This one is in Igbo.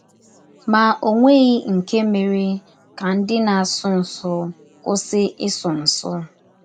Ma ọ nweghị nke mere ka ndị na - asụ nsụ kwụsị ịsụ nsụ.